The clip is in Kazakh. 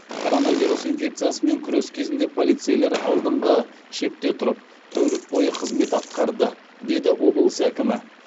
коронавирус инфекциясымен күрес кезінде полицейлер алдыңғы шепте тұрып тәулік бойы қызмет атқарды деді облыс әкімі